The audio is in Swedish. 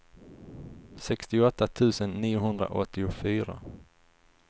sextioåtta tusen niohundraåttiofyra